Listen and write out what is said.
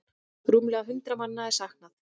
Rúmlega hundrað manna er saknað.